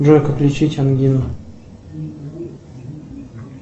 джой как лечить ангину